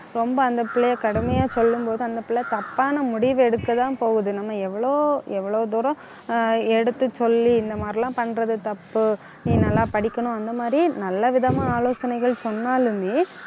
ரொம்ப அந்த பிள்ளையை கடுமையா சொல்லும் போது அந்த பிள்ளை தப்பான முடிவெடுக்கதான் போகுது நம்ம எவ்ளோ எவ்ளோ தூரம், ஆஹ் எடுத்துச் சொல்லி இந்த மாதிரி எல்லாம் பண்றது தப்பு நீ நல்லா படிக்கணும். அந்த மாதிரி நல்லவிதமா ஆலோசனைகள் சொன்னாலுமே